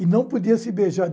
E não podia se beijar.